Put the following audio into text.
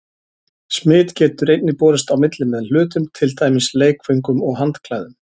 Smit getur einnig borist á milli með hlutum, til dæmis leikföngum og handklæðum.